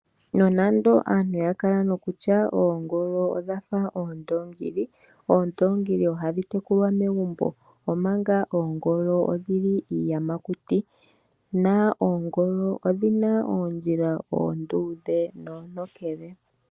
Nonando aantu yakala nokutya oongolo odhafa ondoongili, ondoongili ohadhi tekulwa megumbo, oongolo odhili iiyamakuti, dho odhina oondjila onduudhe.